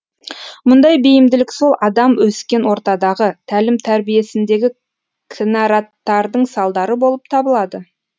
мұндай бейімділік сол адам өскен ортадағы тәлім тәрбиесіндегі кінәраттардың салдары болып табылады